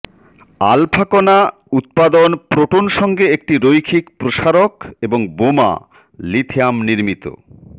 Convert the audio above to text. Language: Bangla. আলফা কণা উত্পাদন প্রোটন সঙ্গে একটি রৈখিক প্রসারক এবং বোমা লিথিয়াম নির্মিত